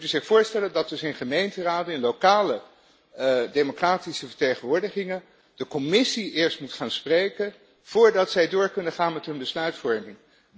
Dan moet u zich voorstellen dat dus in gemeenteraden, in lokale democratische vertegenwoordigingen, de Commissie eerst moet gaan spreken voordat zij door kunnen gaan met hun besluitvorming.